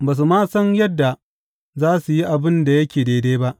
Ba su ma san yadda za su yi abin da yake daidai ba,